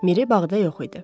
Miri bağda yox idi.